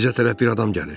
Bizə tərəf bir adam gəlir.